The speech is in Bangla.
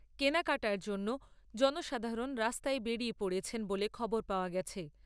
কেনাকাটার জন্য জনসাধারণ রাস্তায় বেরিয়ে পড়েছেন বলে খবর পাওয়া গেছে।